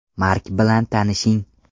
Mark bilan tanishing.